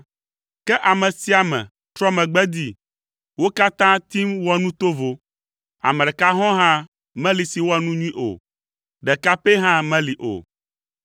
Ke ame sia ame trɔ megbe dee, wo katã tim wɔ nu tovo; ame ɖeka hɔ̃ɔ hã meli si wɔa nu nyui o, ɖeka pɛ hã meli o.